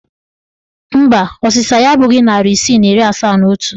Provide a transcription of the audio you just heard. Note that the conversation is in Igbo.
Mba, ọsịsa ya abụghị narị isii na iri asaa na otu